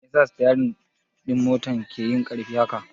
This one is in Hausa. Me yasa sitiyari ɗin motar ki yai ƙarfi haka?